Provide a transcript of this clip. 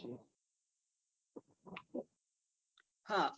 હા